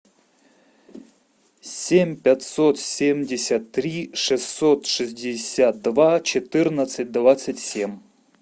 семь пятьсот семьдесят три шестьсот шестьдесят два четырнадцать двадцать семь